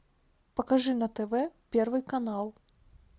покажи на тв первый канал